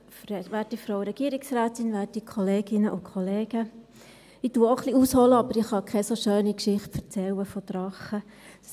Ich hole auch etwas aus, aber ich kann keine so schöne Geschichte von Drachen erzählen.